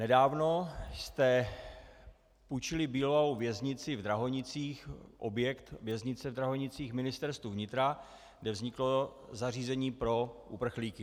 Nedávno jste půjčili bývalou věznici v Drahonicích, objekt věznice v Drahonicích, Ministerstvu vnitra, kde vzniklo zařízení pro uprchlíky.